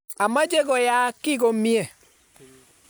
Amache koyaak kiy komie